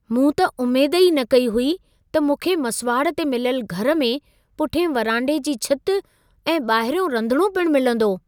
मूं त उमेद ई न कई हुई त मूंखे मसुवाड़ ते मिलियल घर में पुठिएं वरांडे जी छित ऐं ॿाहरियों रंधिणो पिण मिलंदो।